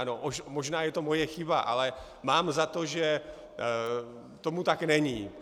Ano, možná je to moje chyba, ale mám za to, že tomu tak není.